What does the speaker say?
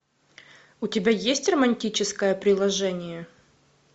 у тебя есть романтическое приложение